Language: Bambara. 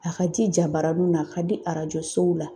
A ka di jabaraninw na a ka di arajo sow la.